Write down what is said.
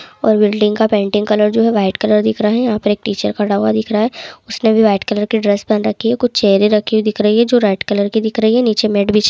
और बिल्डिंग का painting colour जो है वाइट कलर दिख रहा है यहाँ पर टीचर खड़ा हुआ दिख रहा है उसने भी वाइट कलर की ड्रेस पहन रखी है कुछ चेहरे रखी हुई दिख रही है जो रेड कलर की दिख रही है नीचे मेड विछे--